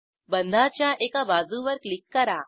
बंधाच्या एका बाजूवर क्लिक करा